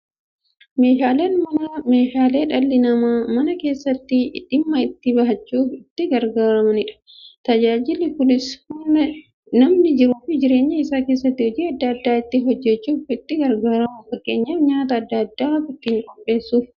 Meeshaaleen Manaa meeshaalee dhalli namaa Mana keessatti dhimma itti ba'achuuf itti gargaaramaniidha. Tajaajilli kunis, namni jiruuf jireenya isaa keessatti hojii adda adda ittiin hojjachuuf itti gargaaramu. Fakkeenyaf, nyaata adda addaa ittiin qopheessuuf.